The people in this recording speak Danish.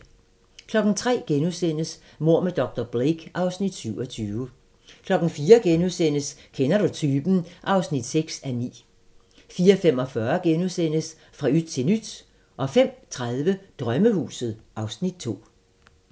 03:00: Mord med dr. Blake (Afs. 27)* 04:00: Kender du typen? (6:9)* 04:45: Fra yt til nyt * 05:30: Drømmehuset (Afs. 2)